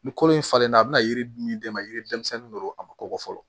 Ni kolo in falenna a bɛna yiri min d'e ma yiri denmisɛnnin do a ma kɔkɔ fɔlɔ